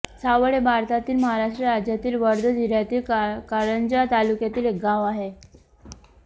सावळ हे भारतातील महाराष्ट्र राज्यातील वर्धा जिल्ह्यातील कारंजा तालुक्यातील एक गाव आहे